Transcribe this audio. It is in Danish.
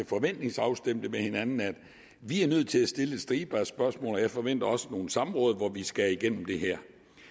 forventningsafstemme med hinanden vi er nødt til at stille en stribe af spørgsmål og jeg forventer også nogle samråd hvor vi skal igennem det her